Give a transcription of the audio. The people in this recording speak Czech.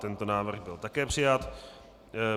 Tento návrh byl také přijat.